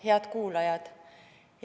Head kuulajad!